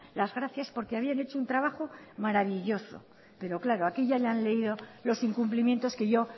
las gracias porque habían hecho un trabajo maravilloso pero claro aquí ya le han leído los incumplimientos que yo